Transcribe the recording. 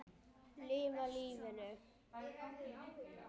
Lifa lífinu!